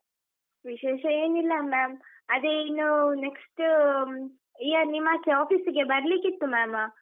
ವಿಶೇಷ ಏನಿಲ್ಲ ma’am , ಅದೇ ಇನ್ನು next year ನಿಮ್ಮಾಚೆ office ಗೆ ಬರ್ಲಿಕಿತ್ತು ma’am .